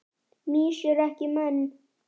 Mýs eru ekki menn